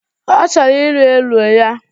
Ọ chọrọ iri elu ya